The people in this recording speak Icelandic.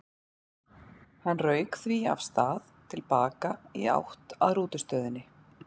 Hann rauk því af stað til baka í átt að rútustöðinni.